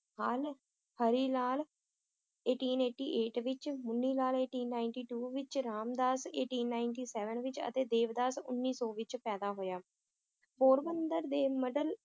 ਹਾਲ, Hari Lal eighteen eighty eight ਵਿਚ, Munni Lal eighteen ninety two ਵਿਚ, Ramdas eighteen ninety seven ਵਿਚ ਅਤੇ ਦੇਵਦਾਸ ਉੱਨੀ ਸੌ ਵਿਚ ਪੈਦਾ ਹੋਇਆ, ਪੋਰਬੰਦਰ ਦੇ middle